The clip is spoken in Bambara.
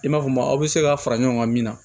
I m'a fɔ maa aw bɛ se ka fara ɲɔgɔn kan min na